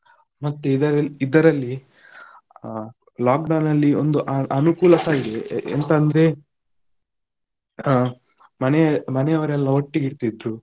ಮತ್ತೆ ಇದ~ ಇದರಲ್ಲಿ ಆ lockdown ಅಲ್ಲಿ ಒಂದು ಅನುಕೂಲಸ ಇದೆ ಎಂತ ಅಂದ್ರೆ ಹಾ ಮನೆ~ ಮನೆಯವರೆಲ್ಲಾ ಒಟ್ಟಿಗೆ ಇರ್ತಿದ್ದರು.